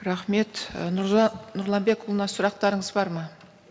рахмет і нұржан нұрланбекұлына сұрақтарыңыз бар ма